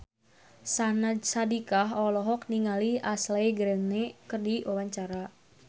Syahnaz Sadiqah olohok ningali Ashley Greene keur diwawancara